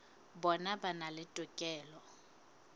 bona ba na le tokelo